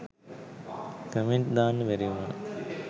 Comment දාන්න බැරි උනා.